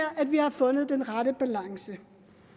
at vi har fundet den rette balance